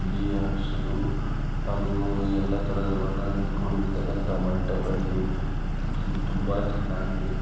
ಇಲ್ಲಿ ಹಸಿರು ಹಾಗೂ ಯಲ್ಲ ತರಹದ ಬಣ್ಣ ದಿಂದ ಕುಡಿರುಂತಹ ಮಂಟಪ ಇದು ಇದು ತುಂಬಾ ಚನಾಗ್ ಇದೆ.